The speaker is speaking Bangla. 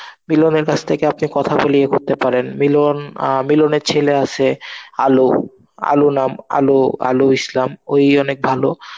মিলনের কাছ থেকে আপনি কথা বলে ইয়ে করতে পারেন. মিলন অ্যাঁ মিলনের ছেলে আছে আলো, আলো নাম, আলো আলো ইসলাম. ওই অনেক ভালো